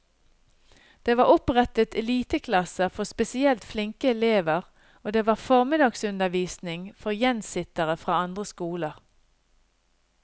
Det var opprettet eliteklasser for spesielt flinke elever, og det var formiddagsundervisning for gjensittere fra andre skoler.